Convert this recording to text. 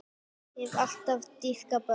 Ég hef alltaf dýrkað börn.